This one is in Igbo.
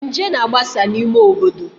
Nje na-agbasa n'ime obodo